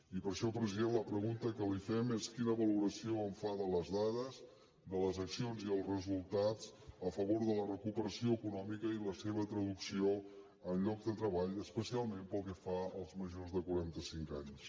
i per això president la pregunta que li fem és quina valoració fa de les dades de les accions i els resultats a favor de la recuperació econòmica i la seva traducció en llocs de treball especialment pel que fa als majors de quaranta cinc anys